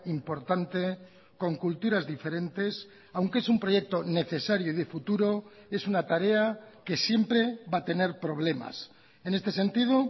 importante con culturas diferentes aunque es un proyecto necesario y de futuro es una tarea que siempre va a tener problemas en este sentido